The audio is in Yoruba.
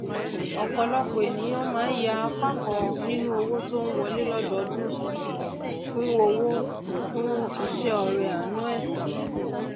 ọpọlọpọ ènìyàn máa ń yà apá kan ninu owó tón wọlé lododún sí fún owó fún iṣẹ ọrẹ àánú ẹsìn